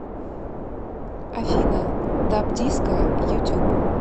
афина дабдиско ютуб